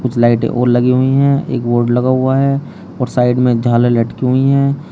कुछ लाइटें और लगी हुई है एक बोर्ड लगा हुआ है और साइड में एक झालर लटकी हुई है।